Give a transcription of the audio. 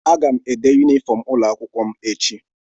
Aga m ede yunifọm ụlọakwụkwọ m echi.